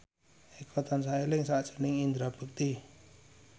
Eko tansah eling sakjroning Indra Bekti